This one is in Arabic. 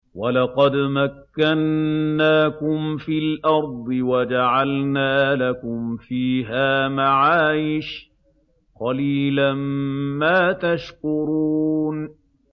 وَلَقَدْ مَكَّنَّاكُمْ فِي الْأَرْضِ وَجَعَلْنَا لَكُمْ فِيهَا مَعَايِشَ ۗ قَلِيلًا مَّا تَشْكُرُونَ